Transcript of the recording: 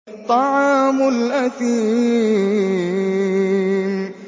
طَعَامُ الْأَثِيمِ